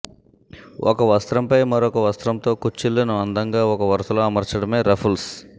ఒక వస్త్రంపై మరో వస్త్రంతో కుచ్చిళ్లను అందంగా ఒక వరుసలో అమర్చడమే రఫుల్స్